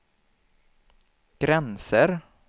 gränser